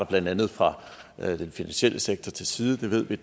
blandt andet fra den finansielle sektor til side det ved vi